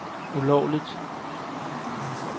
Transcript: ulovligt